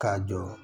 K'a jɔ